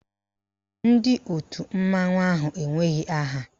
Ndị òtù mmanwụ ahụ enweghị aha.